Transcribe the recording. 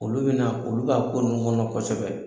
Olu bɛna olu b'a ko ninnu kɔnɔ kosɛbɛ.